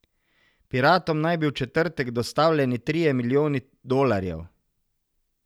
Piratom naj bi v četrtek dostavljeni trije milijoni dolarjev.